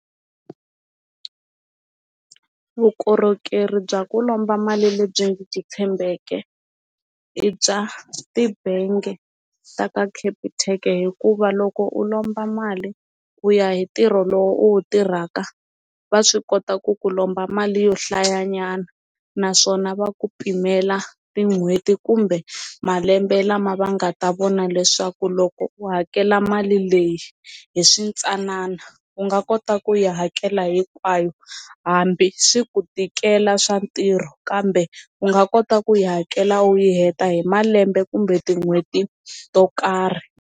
Vukorhokeri bya ku lomba mali lebyi byi tshembekeke i bya tibangi ta ka Capitec hikuva loko u lomba mali ku ya hi ntirho lowu u wu tirhaka va swi kota ku ku lomba mali yo hlaya nyana naswona va ku pimela tin'hweti kumbe malembe lama va nga ta vona leswaku loko u hakela mali leyi hi swi ntsanana u nga kota ku yi hakela hinkwayo hambi swi ku tikela swa ntirho kambe u nga kota ku yi hakela u yi heta hi malembe kumbe tin'hweti to karhi.